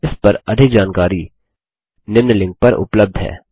इस पर अधिक जानकारी निम्न लिंक पर उपलब्ध है